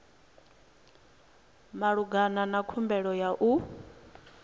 malugana na khumbelo ya u